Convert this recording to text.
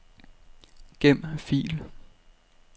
Gem fil.